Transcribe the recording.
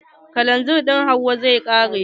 Kalanzir ɗin Hauwa zai ƙare.